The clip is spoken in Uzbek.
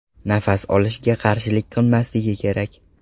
Nafas olishga qarshilik qilmasligi kerak!